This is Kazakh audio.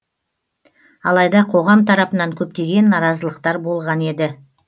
алайда қоғам тарапынан көптеген наразылықтар болған еді